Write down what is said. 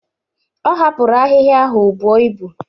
Ọ hapụrụ ahịhịa ahụ o buo ibu.